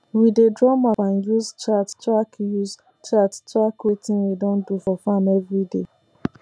we dey draw map and use chart track use chart track wetin we don do for farm everyday